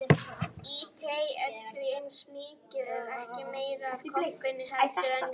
Í tei er því eins mikið ef ekki meira af koffeini heldur en í kaffi.